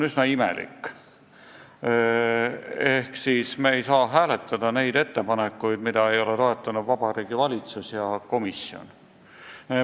Me ei saa hääletada ettepanekuid, mida ei ole toetanud Vabariigi Valitsus ja komisjon.